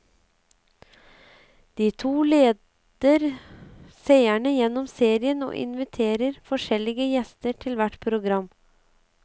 De to leder seerne gjennom serien og inviterer forskjellige gjester til hvert program.